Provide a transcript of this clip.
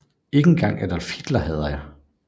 Ikke engang Adolf Hitler hader jeg